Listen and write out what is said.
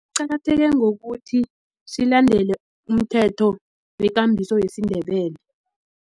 Qakatheke ngokuthi silandela umthetho wekambiso yesiNdebele.